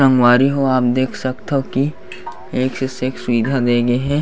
संगवारी हो आप देख सकथा की एक से सेक सुविधा दे गए हे।